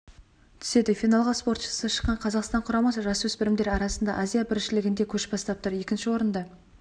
түседі финалға спортшысы шыққан қазақстан құрамасы жасөспірімдер арасындағы азия біріншілігінде көш бастап тұр екінші орында